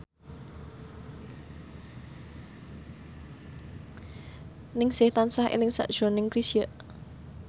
Ningsih tansah eling sakjroning Chrisye